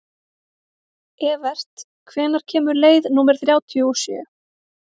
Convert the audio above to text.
Evert, hvenær kemur leið númer þrjátíu og sjö?